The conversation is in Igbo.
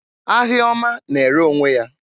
Ahia ọma na-ere onwe ya.